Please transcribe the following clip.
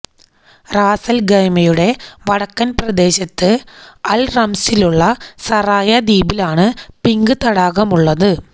റാസല്ഖൈമയുടെ വടക്കല് പ്രദേശത്ത് അല് റംസിലുള്ള സറായ ദ്വീപിലാണ് പിങ്ക് തടാകമുള്ളത്